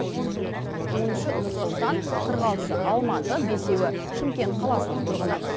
он үші нұр сұлтан қырық алтысы алматы бесеуі шымкент қаласының тұрғыны